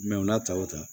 u n'a ta o ta